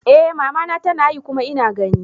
Eh mama na tanayi kuma ina gani.